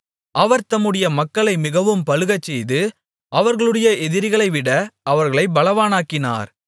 அவர் தம்முடைய மக்களை மிகவும் பலுகச்செய்து அவர்களுடைய எதிரிகளைவிட அவர்களைப் பலவான்களாக்கினார்